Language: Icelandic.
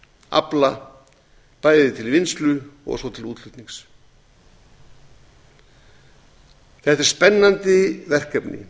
afla bæði til vinnslu og svo til útflutnings þetta er spennandi verkefni